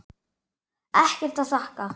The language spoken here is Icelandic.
Ekkert að þakka